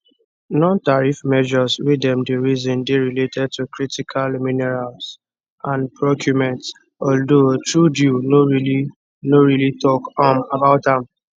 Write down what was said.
nontariff measures wey dem dey reason dey related to critical minerals and procurements although trudeau no really no really tok um about am